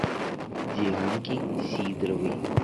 дианке сидоровой